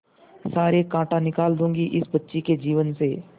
सारे कांटा निकाल दूंगी इस बच्ची के जीवन से